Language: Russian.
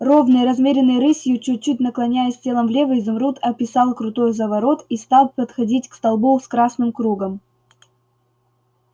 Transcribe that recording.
ровной размеренной рысью чуть-чуть наклоняясь телом влево изумруд описал крутой заворот и стал подходить к столбу с красным кругом